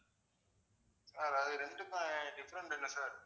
அதாவது ரெண்டுக்கும் ஆஹ் different என்ன sir